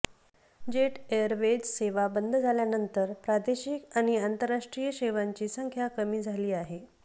jet Airways सेवा बंद झाल्यानंतर प्रादेशिक आणि आंतरराष्ट्रीय सेवांची सख्या कमी झाली आहे